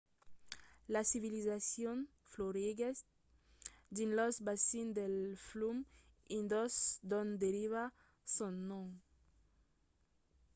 la civilizacion floriguèt dins los bacins del flum indus d'ont deriva son nom